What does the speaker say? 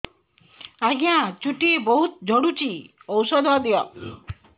ଆଜ୍ଞା ଚୁଟି ବହୁତ୍ ଝଡୁଚି ଔଷଧ ଦିଅ